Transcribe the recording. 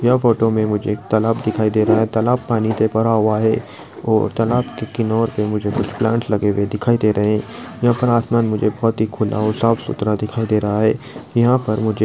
photo मे मुझे एक तलाब दिखाई दे रहा है तलाब पानी के भरा हुआ है और तलाब किनोर पे मुझे कुछ प्लांट्स लगे हुए दिखाई दे रहे है यहा पर आसमान मुझे बहुत ही खुला और साफसुथरा दिखाई दे रहा है यहा पर मुझे --